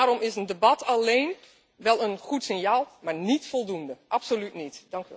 Daarom is een debat alléén wel een goed signaal, maar niet voldoende, absoluut niet!